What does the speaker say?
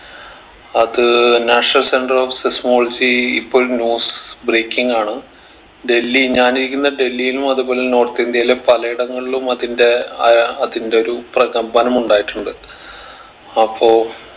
അത് national center of seismology ഇപ്പൊ ഒരു news breaking ആണ് ഡൽഹി ഞാനിരിക്കുന്ന ഡെൽഹീലും അതുപോലെ തന്നെ north ഇന്ത്യയിലെ പലയിടങ്ങളിലും അതിന്റെ ആഹ് അതിന്റെ ഒരു പ്രകമ്പനം ഉണ്ടായിട്ടുണ്ട് അപ്പൊ